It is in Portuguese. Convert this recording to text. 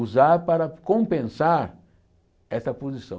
usar para compensar essa posição.